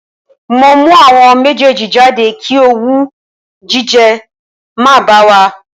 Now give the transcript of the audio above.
Mo mú àwọn méjèèjì jáde kí owú jíjẹ má bá a wà